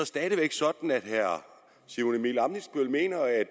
stadig væk sådan at herre simon emil ammitzbøll mener at